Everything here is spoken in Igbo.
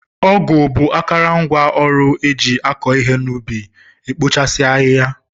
Ọgụ bụ akarangwaọrụ eji akụ ihe ubi, ekpochasi ahịhịa.